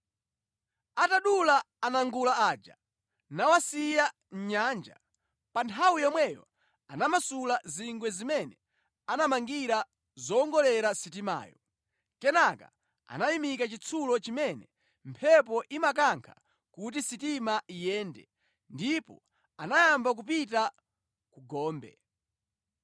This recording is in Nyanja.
Atadula anangula aja, nawasiya mʼnyanja, pa nthawi yomweyo anamasula zingwe zimene anamangira zowongolera sitimayo. Kenaka anayimika chinsalu chimene mphepo imakankha kuti sitima iyende, ndipo anayamba kupita ku gombe.